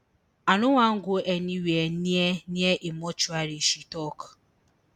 i no wan go anywia near near a mortuary she tok